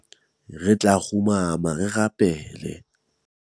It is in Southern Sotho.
re tla kgumama re rapele